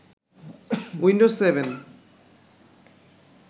Windows seven